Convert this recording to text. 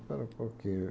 Espera um pouquinho.